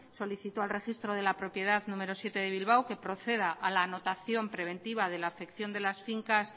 solicitó al registro de la propiedad número siete de bilbao que proceda a la notación preventiva de la afección de las fincas